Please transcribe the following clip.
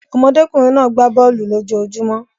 Ọmọdékùnrin náà gbá bọ̀ọ̀lu lójojúmó.